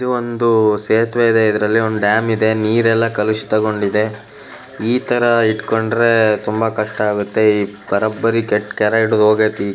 ಇದು ಒಂದು ಸೇರ್ತಿವೆ ಇದೆ ಒಂದು ಡ್ಯಾಂ ಇದೆ ನೀರೆಲ್ಲ ಕಲಿಸ್ತಗೊಂಡಿದೆ ಇತರ ಇಟ್ಕೊಂಡ್ರೆ ತುಂಬ ಕಷ್ಟ ಆಗತ್ತೆ ಬರೋಬರಿ ಕೆಟ್ಟ ಕೆರ ಹಿಡ್ದು ಹೂಜಿತೆ.